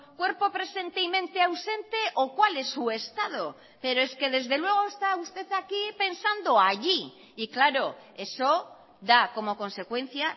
cuerpo presente y mente ausente o cuál es su estado pero es que desde luego está usted aquí pensando allí y claro eso da como consecuencia